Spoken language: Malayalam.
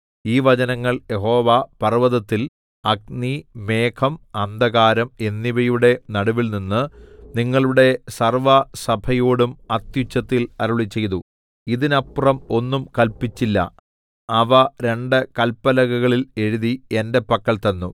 ഈ വചനങ്ങൾ യഹോവ പർവ്വതത്തിൽ അഗ്നി മേഘം അന്ധകാരം എന്നിവയുടെ നടുവിൽനിന്ന് നിങ്ങളുടെ സർവ്വസഭയോടും അത്യുച്ചത്തിൽ അരുളിച്ചെയ്തു ഇതിനപ്പുറം ഒന്നും കല്പിച്ചില്ല അവ രണ്ട് കല്പലകകളിൽ എഴുതി എന്റെ പക്കൽ തന്നു